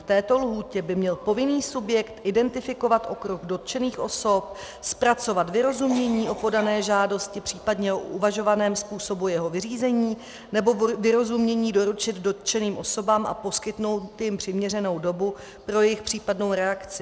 V této lhůtě by měl povinný subjekt identifikovat okruh dotčených osob, zpracovat vyrozumění o podané žádosti, případně o uvažovaném způsobu jeho vyřízení, nebo vyrozumění doručit dotčeným osobám a poskytnout jim přiměřenou dobu pro jejich případnou reakci.